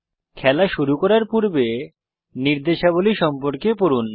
খেলা শুরু করার পূর্বে নির্দেশাবলী সম্পর্কে পড়ুন